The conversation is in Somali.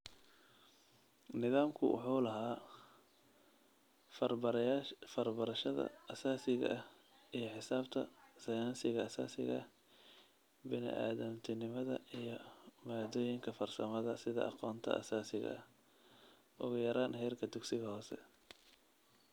Nidaamku wuxuu lahaa farbarashada aasaasiga ah iyo xisaabta, sayniska aasaasiga ah, bini'aadantinimada iyo maaddooyinka farsamada sida aqoonta aasaasiga ah - ugu yaraan heerka dugsiga hoose.